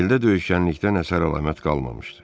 Heldə döyüşkənlikdən əsər-əlamət qalmamışdı.